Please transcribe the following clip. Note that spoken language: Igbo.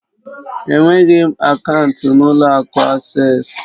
Enweghị m akaụntụ n'ụlọ akụ Asés